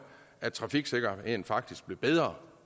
at trafiksikkerheden faktisk blev bedre